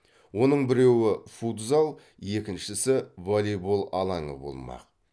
оның біреуі футзал екіншісі волейбол алаңы болмақ